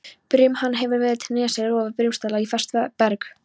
Brim hefur víða til nesja rofið brimstalla í fast berg.